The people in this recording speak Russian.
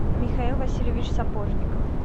михаил васильевич сапожников